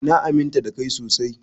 Eh na aminta da Kai sosai.